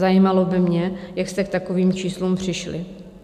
Zajímalo by mě, jak jste k takovým číslům přišli.